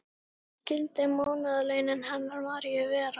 En hver skyldu mánaðarlaunin hennar Maríu vera?